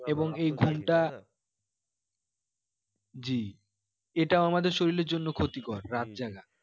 এবং এই ঘুমটা জি এইটা আমাদের শরীরের জন্য ক্ষতিকর রাত জাগা